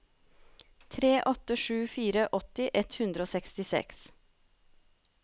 tre åtte sju fire åtti ett hundre og sekstiseks